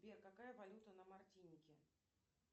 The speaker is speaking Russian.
сбер какая валюта на мартинике